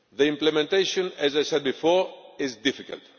Implementation, as I said before, is difficult.